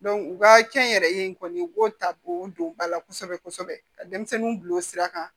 u ka kɛ n yɛrɛ ye kɔni u b'o ta k'o don ba la kosɛbɛ kosɛbɛ ka denmisɛnninw bila o sira kan